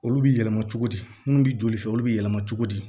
Olu bɛ yɛlɛma cogo di minnu bɛ joli fɛ olu bɛ yɛlɛma cogo di